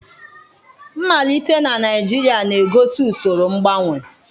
Mmalite na Naijiria na-egosi usoro mgbanwe.